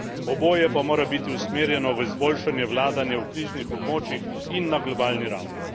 Oboje pa mora biti usmerjeno v izboljšanje vladanja v kriznih območjih in na globalni ravni.